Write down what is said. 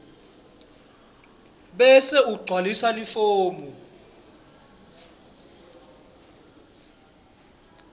bese ugcwalisa lifomu